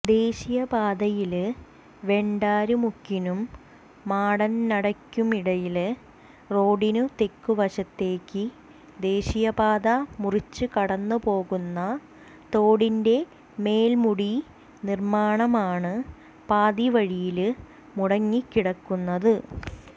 ദേശീയപാതയില് വെണ്ടര്മുക്കിനും മാടന്നടയ്ക്കുമിടയില് റോഡിന് തെക്കുവശത്തേക്ക് ദേശീയപാത മുറിച്ച് കടന്നുപോകുന്ന തോടിന്റെ മേല്മൂടി നിര്മാണമാണ് പാതിവഴിയില് മുടങ്ങിക്കിടക്കുന്നത്